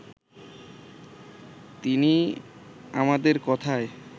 তিনি আমাদের কথায়